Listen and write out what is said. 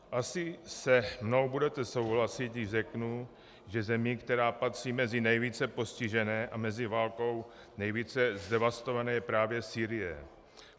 Asi se mnou budete souhlasit, když řeknu, že zemí, která patří mezi nejvíce postižené a mezi válkou nejvíce zdevastované, je právě Sýrie.